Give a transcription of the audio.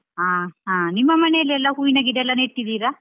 ಆ ಆ ನಿಮ್ಮ ಮನೆಯಲ್ಲೆಲ್ಲಾ ಹೂವಿನ ಗಿಡಯೆಲ್ಲಾ ನೆಟ್ಟಿದ್ದಿರಾ?